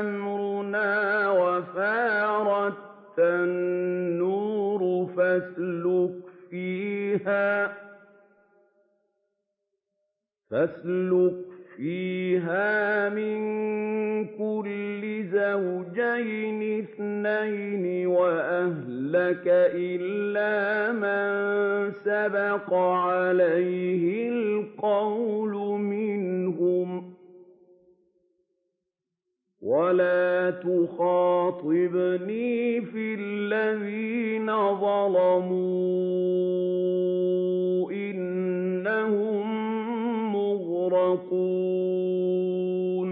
أَمْرُنَا وَفَارَ التَّنُّورُ ۙ فَاسْلُكْ فِيهَا مِن كُلٍّ زَوْجَيْنِ اثْنَيْنِ وَأَهْلَكَ إِلَّا مَن سَبَقَ عَلَيْهِ الْقَوْلُ مِنْهُمْ ۖ وَلَا تُخَاطِبْنِي فِي الَّذِينَ ظَلَمُوا ۖ إِنَّهُم مُّغْرَقُونَ